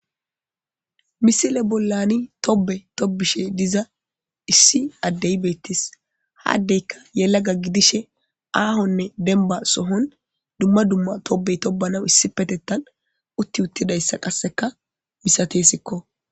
Misile bollani tobe tobishe diza issi addey beettis.ha addeyka yelaga gidishe aahonne denba sohon dumma dumma tobey tobanaw issipetettan utti uttidayssa qasseka misatesikko.